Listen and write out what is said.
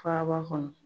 Faaba kɔnɔ